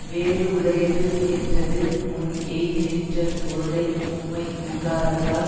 வேறு உடையது என்றது முன் எய்திநின்ற பொருளை உம் மை விகாரத்தால்